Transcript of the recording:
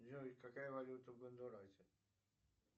джой какая валюта в гондурасе